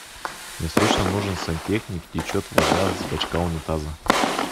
мне срочно нужен сантехник течет вода с бочка унитаза